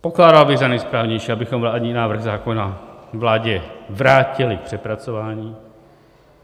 Pokládal bych za nejsprávnější, abychom vládní návrh zákona vládě vrátili k přepracování.